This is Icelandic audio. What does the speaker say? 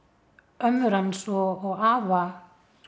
ömmur hans og afa